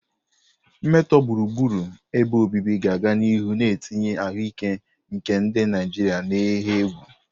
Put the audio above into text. Mmetọ gburugburu ebe obibi ga-aga n'ihu na-etinye ahụike nke ndị Naijiria n'ihe egwu.